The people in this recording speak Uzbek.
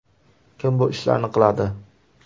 Kim bu ishlarni qiladi?